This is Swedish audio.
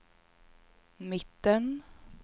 mitten